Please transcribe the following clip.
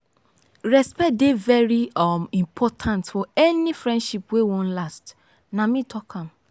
respect dey very um important for any friendship wey wan last nah me talk am.